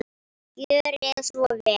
Gjörið svo vel!